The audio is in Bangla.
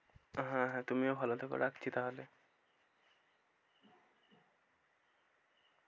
হ্যাঁ হ্যাঁ তুমিও ভালো থেকো, রাখছি তাহলে।